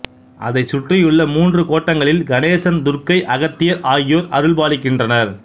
அதைச் சுற்றியுள்ள மூன்று கோட்டங்களில் கணேசன் துர்க்கை அகத்தியர் ஆகியோர் அருள்பாலிக்கின்றனர்